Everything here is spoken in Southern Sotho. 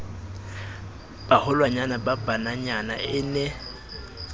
baholwanyane ba bananyana e ne